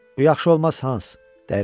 Bu yaxşı olmaz Hans,